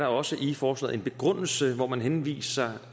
også i forslaget en begrundelse hvor man henviser